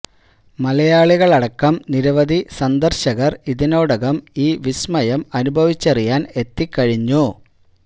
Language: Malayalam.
മലയാളികൾ അടക്കം നിരവധി സന്ദർശകർ ഇതിനോടകം ഈ വിസ്മയം അനുഭവിച്ചറിയാൻ എത്തിക്കഴിഞ്ഞു